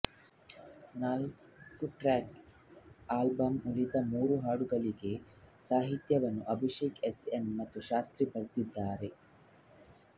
ನಾಲ್ಕುಟ್ರ್ಯಾಕ್ ಆಲ್ಬಂನ ಉಳಿದ ಮೂರು ಹಾಡುಗಳಿಗೆ ಸಾಹಿತ್ಯವನ್ನು ಅಭಿಷೇಕ್ ಎಸ್ಎನ್ ಮತ್ತು ಶಾಸ್ತ್ರಿ ಬರೆದಿದ್ದಾರೆ